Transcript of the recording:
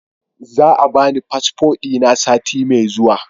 Za a bani fasfo dina sati mai zuwa